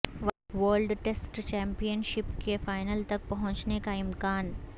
world test championship کے final تک پہنچنے کا امکان